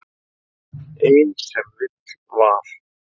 Ein sem vill val.